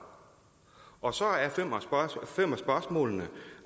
og så er fem af spørgsmålene